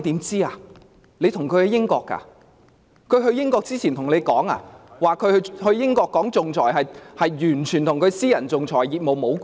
是否她赴英前告訴你，她去英國談論仲裁與她的私人仲裁業務無關？